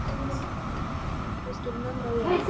Ég skil mömmu vel.